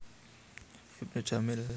Ibnu Jamil